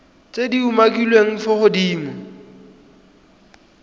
tse di umakiliweng fa godimo